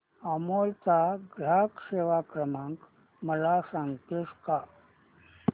अमूल चा ग्राहक सेवा क्रमांक मला सांगतेस का